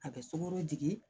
A bɛ sokɔnɔ jigi